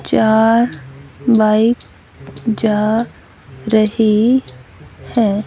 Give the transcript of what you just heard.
चार बाइक जा रही है।